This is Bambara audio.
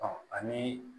Ɔ ani